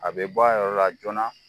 A bɛ bɔyɔrɔ la joona